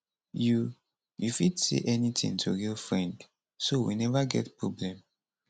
you you fit say anytin to real friend so we neva get problem